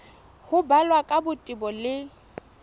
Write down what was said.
ho balwa ka botebo le